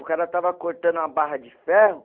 O cara estava cortando uma barra de ferro.